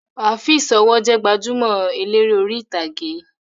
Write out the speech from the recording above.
Afeez ọwọ́ jẹ gbajúmọ̀ eléré orí ìtàgé